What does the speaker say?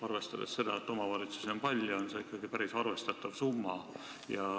Arvestades seda, et omavalitsusi on palju, on see ikkagi päris arvestatav summa.